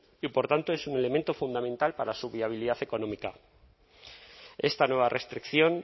y por tanto es un elemento fundamental para su viabilidad económica esta nueva restricción